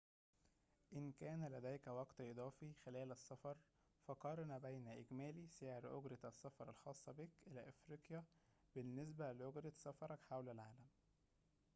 إن كان لديك وقت إضافي خلال السفر فقارن بين إجمالي سعر أجرة السفر الخاصة بك إلى أفريقيا بالنسبة لأجرة سفرك حول العالم